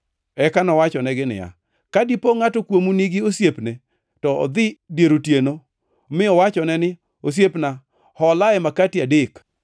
Eka nowachonegi niya, “Ka dipo ngʼato kuomu nigi osiepne to odhi dier otieno mi owachone ni, ‘Osiepna holae makati adek,